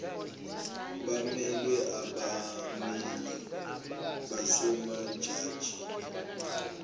bemelwe abammeli basemajajini